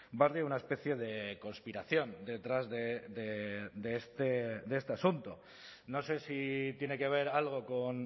barrio una especie de conspiración detrás de este asunto no sé si tiene que ver algo con